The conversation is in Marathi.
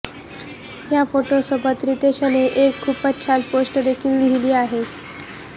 या फोटोसोबत रितेशने एक खूपच छान पोस्ट देखील लिहिली आहे